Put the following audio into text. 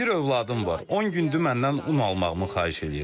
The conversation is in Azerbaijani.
Bir övladım var, 10 gündür məndən un almağımı xahiş eləyir.